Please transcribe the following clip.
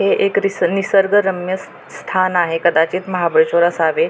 हे एक नि निसर्गरम्य स स्थान आहे कदाचित महाबळेश्वर असावे.